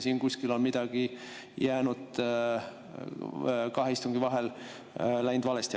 Siin on kuskil kahe istungi vahel läinud midagi valesti.